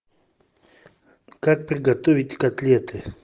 как приготовить котлеты